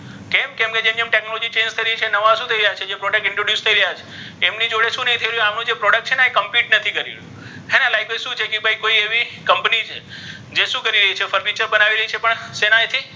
કેમ કે જેમ જેમ technology change થઇ રહી છે નવા શુ થઇ રહ્યા છે જે product introduce થઇ રહ્યા છે ઍમની જોડે શુ નહી થઇ રહ્યુ આનો જે product છે ને ઍ complete નથી થઇ રહ્યુ છે હે ને like ભઇ શુ છે કોઇઍ company છે જે શુ કરી રહી છે ફર્નિચર બનાવી રહી છે પણ શેના,